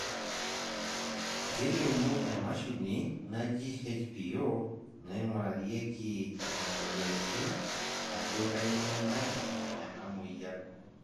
Kelimu emashini naji HPO naingurarieki imoyiaritin ajo kainyioo nayau enamoyian.